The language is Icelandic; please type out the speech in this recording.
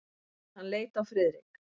Hann leit á Friðrik.